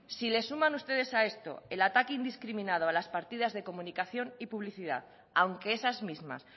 si le suman ustedes a esto el ataque indiscriminado a las partidas de comunicación y publicidad aunque esas mismas